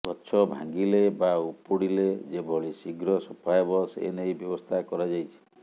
ଗଛ ଭାଙ୍ଗିଲେ ବା ଉପୁଡ଼ିଲେ ଯେଭଳି ଶୀଘ୍ର ସଫା ହେବ ସେନେଇ ବ୍ୟବସ୍ଥା କରାଯାଇଛି